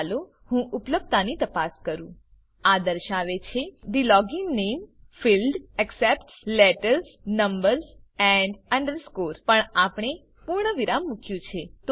ચાલો હું ઉપલભ્યતાની તપાસ કરું આ દર્શાવે છે કે the login name field accepts letters numbers underscore પણ આપણે પૂર્ણ વિરામ મુક્યું છે